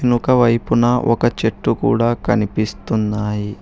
నుక వైపున ఒక చెట్టు కూడా కనిపిస్తున్నాయి.